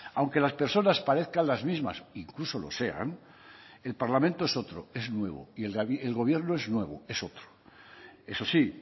aunque las personas parezcan las mismas incluso lo sean el parlamento es otro es nuevo y el gobierno es nuevo es otro eso sí